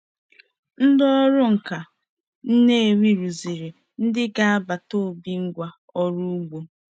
Ndị ọrụ nka Nnewi rụziri ndị agbata obi ngwá ọrụ ugbo.